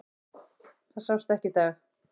Það sást ekki í dag.